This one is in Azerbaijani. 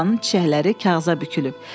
Marta xalanın çiçəkləri kağıza bükülüb.